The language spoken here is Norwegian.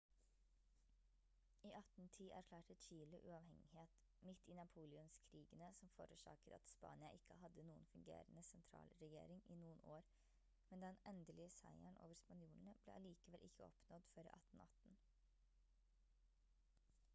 i 1810 erklærte chile uavhengighet midt i napoleonskrigene som forårsaket at spania ikke hadde noen fungerende sentralregjering i noen år men den endelige seieren over spanjolene ble allikevel ikke oppnådd før 1818